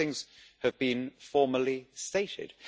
These things have been formally stated.